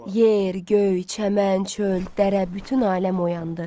Yer, göy, çəmən, çöl, dərə, bütün aləm oyandı.